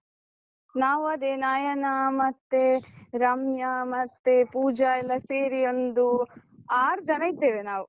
ನಾವು ಅದೇ ನಯನಾ, ಮತ್ತೆ ರಮ್ಯಾ, ಮತ್ತೆ ಪೂಜ ಎಲ್ಲ ಸೇರಿ ಒಂದು ಆರ್ ಜನ ಇದ್ದೇವೆ ನಾವು.